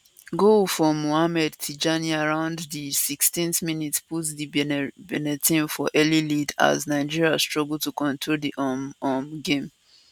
goal from mohamed tijani around di 16th minute put di benin team for early lead as nigeria struggle to control di um um game